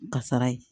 Kasara ye